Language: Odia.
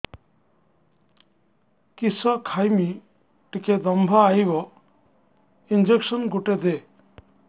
କିସ ଖାଇମି ଟିକେ ଦମ୍ଭ ଆଇବ ଇଞ୍ଜେକସନ ଗୁଟେ ଦେ